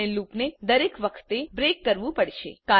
આપણે લુપને દરેક વખતે બ્રેક કરવું પડશે